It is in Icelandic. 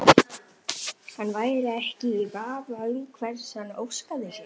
Hann væri ekki í vafa um hvers hann óskaði sér.